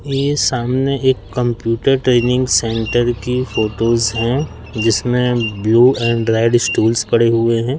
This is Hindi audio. ये सामने एक कंप्यूटर ट्रेनिंग सेंटर की फोटोस हैं जिसमें ब्लू एंड्रॉयड स्टूल्स पड़े हुए हैं।